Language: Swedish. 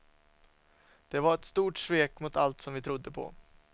Det var ett stort svek mot allt som vi trodde på.